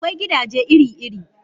Akwai gidaje iri-iri.